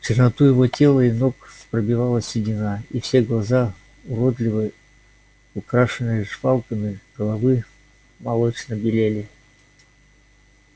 черноту его тела и ног пробивала седина и все глаза уродливой украшенной жвалками головы молочно белели